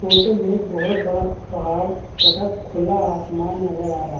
Photo में एक बहुत बड़ा पहाड़ तथा खुला आसमान नज़र आ रहा है।